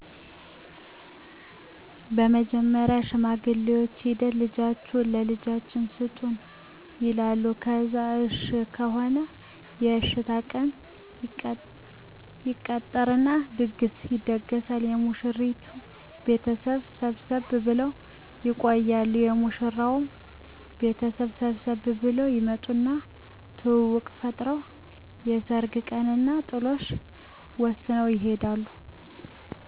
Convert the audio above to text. በመጀመሪያ ሽማግሌዎች ሂደው ልጃችሁን ለልጃችን ስጡን ይላሉ ከዛ እሽ ከሆነ የእሽታ ቀን ይቀጠርና ድግስ ይደገሳል የሙሽራይቱ ቤተሰብም ሰብሰብ ብለው ይቆያሉ የሙሽራው ቤተሰብም ሰብሰብ ብለው ይመጡና ትውውቅ ፈጥረው የሰርግ ቀንና ጥሎሽ ወስነው ይሄዳሉ።